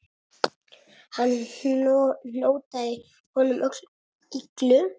Hann hótaði honum öllu illu.